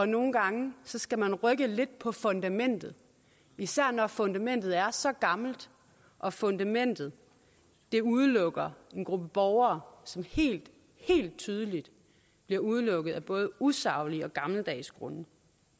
nogle gange skal man rykke lidt på fundamentet især når fundamentet er så gammelt og fundamentet udelukker en gruppe borgere som helt tydeligt bliver udelukket af både usaglige og gammeldags grunde